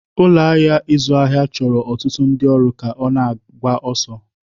Ụlọ ahịa ịzụ ahịa chọrọ ọtụtụ ndị ọrụ ka ọ na-agba ọsọ.